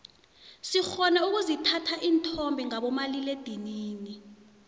sirhona ukuzithatha isithombe ngabo malila edinini